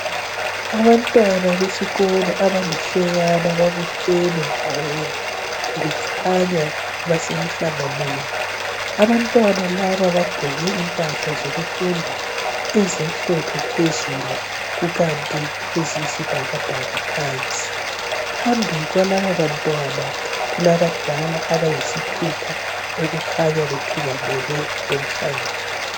Abantwana besikolo abalihlekana babuthene ndawonye, kukhanya basemhlanganweni. Abantwana laba bagqoke impahla zokufunda ezimhlophe phezulu kukanti eziyisibhakabhaka phansi. Phambi kwalaba bantwana kulabadala abayisithupha okukhanya bethungamele lumhlangano.